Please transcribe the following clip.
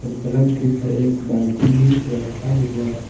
पलंग के ऊपर एक बाल्टी भी रखा हुआ--